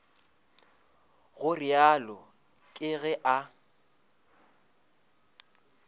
go realo ke ge a